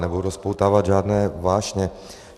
Nebudu rozpoutávat žádné vášně.